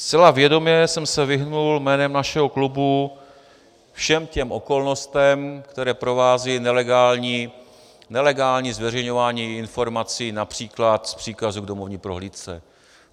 Zcela vědomě jsem se vyhnul jménem našeho klubu všem těm okolnostem, které provází nelegální zveřejňování informací například z příkazu k domovní prohlídce.